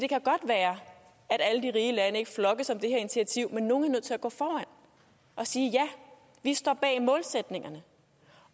at at alle de rige lande ikke flokkes om det her initiativ men at nogle er nødt til at gå foran og sige ja vi står bag målsætningen